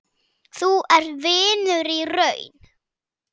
Þú ert vinur í raun.